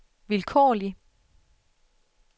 vilkårlig